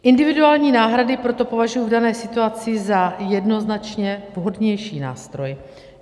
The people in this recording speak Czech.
Individuální náhrady proto považuji v dané situaci za jednoznačně vhodnější nástroj.